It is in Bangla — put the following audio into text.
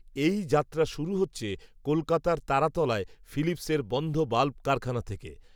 এই যাত্রা শুরু হচ্ছে, কলকাতার তারাতলায়, ফিলিপসের বন্ধ বাল্ব কারখানা থেকে